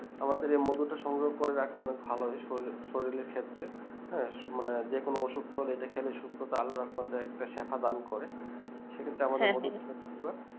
আমাদের এই মধুটা সংগ্রহ করে রাখা অনিক ভালোই সলিলশরীর এর ক্ষেত্রে হ্যাঁ যে কোনো অসুখ করলে ইটা খেলে সুস্থতা আলাদা মাত্রা সে প্রদান করে সেক্ষেত্রে